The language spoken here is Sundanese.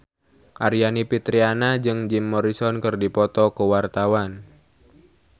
Aryani Fitriana jeung Jim Morrison keur dipoto ku wartawan